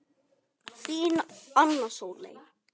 Þín, Anna Sóley.